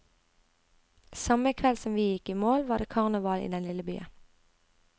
Samme kveld som vi gikk i mål, var det karneval i den lille byen.